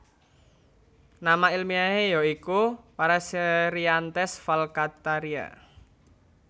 Nama ilmiahé ya iku Paraserianthes falcataria